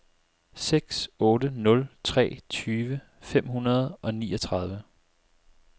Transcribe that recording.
seks otte nul tre tyve fem hundrede og niogtredive